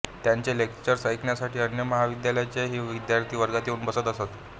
त्यांचे लेक्चर्स ऐकण्यासाठी अन्य महाविद्यालयांचेही विद्यार्थी वर्गात येऊन बसत असत